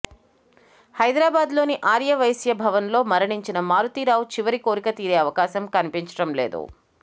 హైదరాబాదులోని ఆర్యవైశ్య భవన్ లో మరణించిన మారుతీ రావు చివరి కోరిక తీరే అవకాశం కనిపించడం లేదు